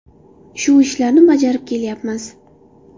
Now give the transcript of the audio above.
Shu ishlarni bajarib kelyapmiz.